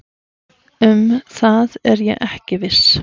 Um það er ég ekki viss